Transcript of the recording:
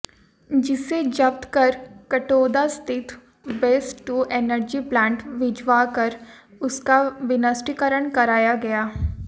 जिसे जब्त कर कठौंदा स्थित वेस्ट टू एनर्जी प्लांट भिजवा कर उसका विनिष्टीकरण कराया गया